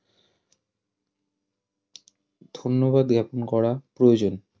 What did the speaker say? ধন্যবাদ জ্ঞাপন করা প্রয়োজন